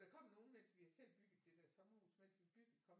Der kom nogle mens vi har selv bygget det der sommerhus mens vi byggede kom